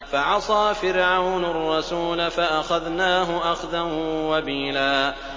فَعَصَىٰ فِرْعَوْنُ الرَّسُولَ فَأَخَذْنَاهُ أَخْذًا وَبِيلًا